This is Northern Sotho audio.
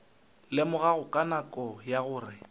lemogago ka nako ye gore